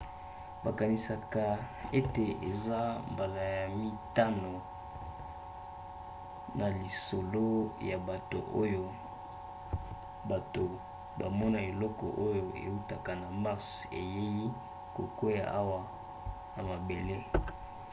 bakanisaka ete eza mbala ya mitano na lisolo ya bato oyo bato bamona eloko oyo eutaka na mars eyei kokwea awa na mabele